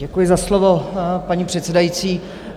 Děkuji za slovo, paní předsedající.